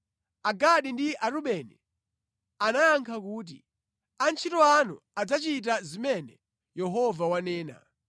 Agadi ndi Arubeni anayankha kuti, “Antchito anu adzachita zimene Yehova wanena.